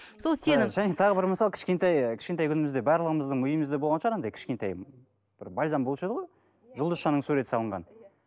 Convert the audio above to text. сол сен және тағы бір мысал кішкентай кішкентай күнімізде барлығымыздың үйімізде болған шығар анадай кішкентай бір бальзам болушы еді ғой жұлдызшаның суреті салынған